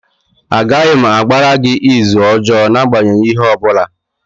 Agaghị m agbara gị ịzụ ọjọọ n'agbanyeghị ihe ọ bụla.